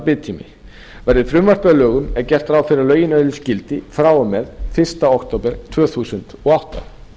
biðtími verði frumvarpið að lögum er gert ráð fyrir að lögin öðlist gildi frá og með fyrsta október tvö þúsund og átta